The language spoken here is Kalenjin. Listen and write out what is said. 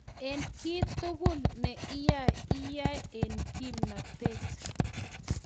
eng kiy tugul ne iyae iyai eng kimnatet